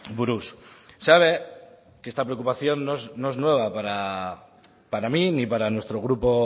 buruz sabe que esta preocupación no es nueva para para mí ni para nuestro grupo